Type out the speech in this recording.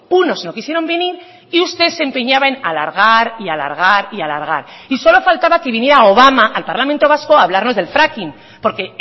unos no quisieron venir y usted se empeñaba alargar y alargar y alargar y solo faltaba que viniera obama al parlamento vasco a hablarnos del fracking porque